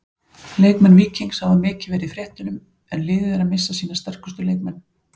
Leikmenn Víkings hafa mikið verið í fréttunum en liðið er að missa sína sterkustu leikmenn.